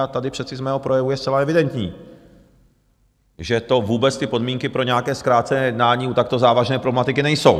A tady přece z mého projevu je zcela evidentní, že tu vůbec ty podmínky pro nějaké zkrácené jednání u takto závažné problematiky nejsou.